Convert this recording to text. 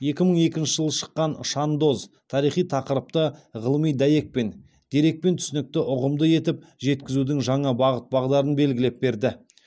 екі мың екінші жылы шыққан шандоз тарихи тақырыпты ғылыми дәйекпен дерекпен түсінікті ұғымды етіп жеткізудің жаңа бағыт бағдарын белгілеп берді